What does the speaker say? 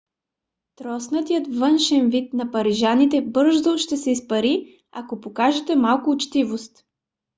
троснатият външен вид на парижаните бързо ще се изпари ако покажете малко учтивост